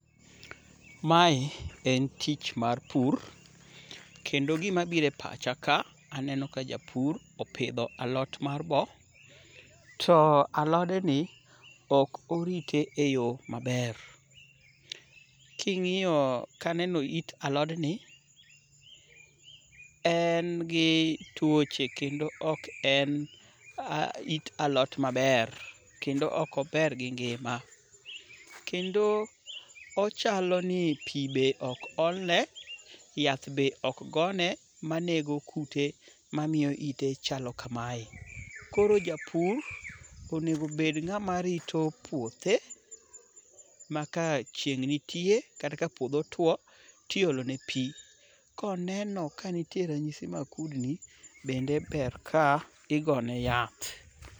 Mae en tich mar pur, kendo gimabiro e pacha ka, aneno ka japur opidho alot mar bo, to alodni ok orite e yo maber. Kaneno it alodni, en gi tuoche kendo ok en it alot maber, kendo ok ober gi ngima. Kendo ochaloni pi be ok olne, yath be ok gone manego kute mamiyo ite chalo kamae. Koro japur onego bed ng'at marito puothe ,ma ka chieng' nitie kata ka puodho tuwo, tiolone pi. Koneno ka nitie ranyisi mag kudni, bende ber ka igone yath.